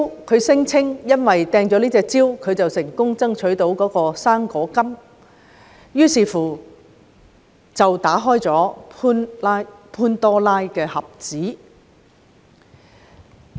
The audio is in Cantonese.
他聲稱因為自己擲出這隻蕉，所以成功爭取"生果金"，這樣便打開了潘朵拉的盒子。